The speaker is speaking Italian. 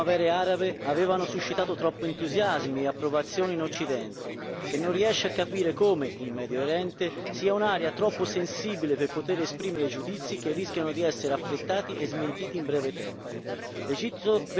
Le cosiddette primavere arabe avevano suscitato troppi entusiasmi e approvazione in Occidente, che non riesce a capire che il Medio Oriente è un'area troppo sensibile per poter esprimere giudizi, che rischiano di essere affrettati e smentiti in breve tempo.